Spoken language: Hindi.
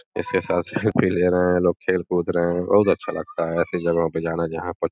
इसके साथ सेल्फी ले रहे हैं लोग खेल कूद रहे हैं बहुत अच्छा लगता है ऐसी जगहों प जाना जहां पर --